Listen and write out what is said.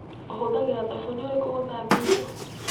Ũhũthĩraga thabuni ũrĩkũ gũthambia indo?